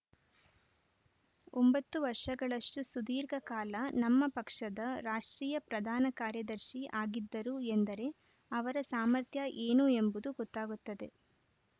ಒಂಭತ್ತು ವರ್ಷಗಳಷ್ಟುಸುದೀರ್ಘ ಕಾಲ ನಮ್ಮ ಪಕ್ಷದ ರಾಷ್ಟ್ರೀಯ ಪ್ರಧಾನ ಕಾರ್ಯದರ್ಶಿ ಆಗಿದ್ದರು ಎಂದರೆ ಅವರ ಸಾಮರ್ಥ್ಯ ಏನು ಎಂಬುದು ಗೊತ್ತಾಗುತ್ತದೆ